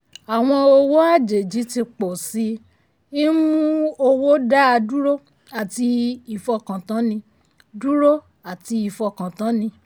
àwọn owó àjèjì tí pọ̀ sì i ń mú owó dáa dúró àti ìfọkàntánni. dúró àti ìfọkàntánni.